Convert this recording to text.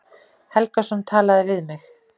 Helgason talaði við mig.